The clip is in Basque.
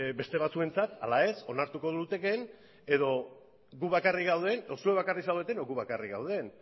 beste batzuentzat ala ez onartuko luketen edo guk bakarrik gauden edo zuek bakarrik zaudeten edo guk bakarrik gauden